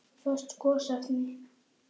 Föst gosefni